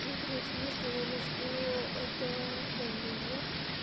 ну короче мне сказали что это давление